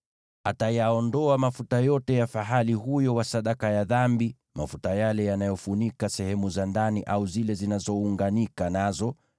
Atayaondoa mafuta yote ya fahali huyo wa sadaka ya dhambi, mafuta yale yanayofunika sehemu za ndani au zile zinazounganika nazo,